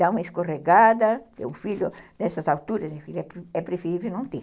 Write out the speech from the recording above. Dá uma escorregada, o filho, nessas alturas, é preferível não ter.